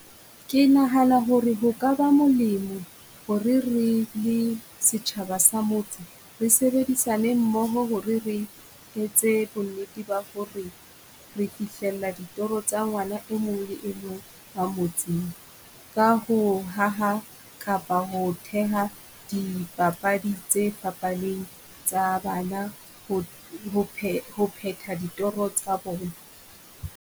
Ke nahana ho re ho ka ba molemo ho re re le setjhaba sa motse, re sebedisana mmoho ho re re etse bonnete ba ho re re fihlela ditoro tsa ngwana e mong le e mong ka motseng. Ka ho haha kapa ho theha dipapadi tse fapaneng tsa bana ho ho phe ho phetha ditoro tsa bona.